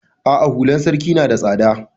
A'a hular sarki na da tsada.